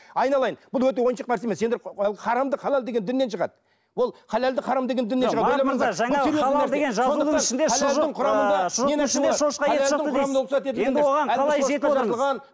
айналайын бұл өте ойыншық нәрсе емес сендер харамды мен халал деген діннен шығады ол халалды мен харам деген діннен шығады